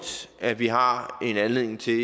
at vi har en anledning til